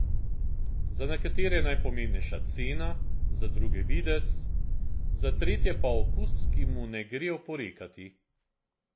Za nekatere je najpomembnejša cena, za druge videz, za tretje pa okus, ki mu ne gre oporekati.